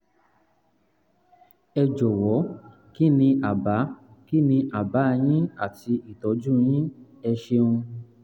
ẹ jọ̀wọ́ kí ni àbá kí ni àbá yín àti ìtọ́jú yín? ẹ ṣeun